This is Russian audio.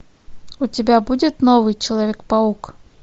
у тебя будет новый человек паук